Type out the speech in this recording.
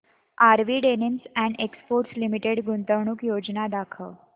RV denims and exports limited गुंतवणूक योजना दाखव